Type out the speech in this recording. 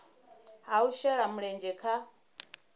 ha u shela mulenzhe kha